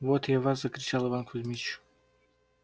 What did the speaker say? вот я вас закричал иван кузмич